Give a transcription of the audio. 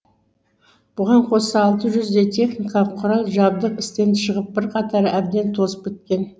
бұған қоса алты жүздей техникалық құрал жабдық істен шығып бірқатары әбден тозып біткен